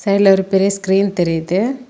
சைடுல ஒரு பெரிய ஸ்கிரீன் தெரியுது.